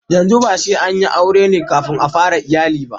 yanzu ba sai an yi aure na kafin a fara iyali